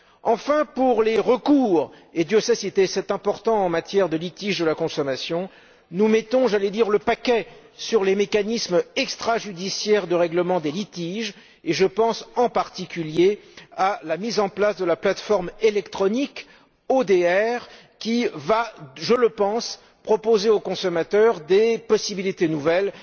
Enfin, pour les recours, et Dieu sait si c'est important en matière de litiges liés à la consommation, nous mettons, j'allais dire, le paquet sur les mécanismes extrajudiciaires de règlement des litiges et je pense, en particulier, à la mise en place de la plateforme électronique ODR, qui va, je le pense, proposer aux consommateurs des possibilités nouvelles.